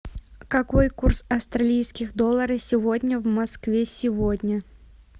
какой курс австралийских долларов сегодня в москве сегодня